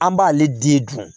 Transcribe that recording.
An b'ale den dun